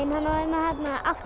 átti